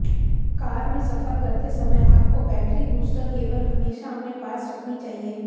car में सफर करते समय आप को बैट्री बूस्टर केबल हमेशा अपने पास रखनी चाहिए